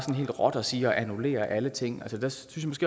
helt råt at sige at vi annullerer alle ting der synes